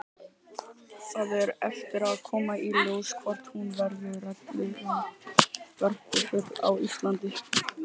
Það á eftir að koma í ljós hvort hún verður reglulegur varpfugl á Íslandi.